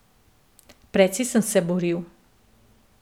Precej sem se boril.